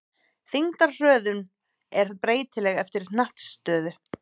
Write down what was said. Þyngdarhröðun er breytileg eftir hnattstöðu.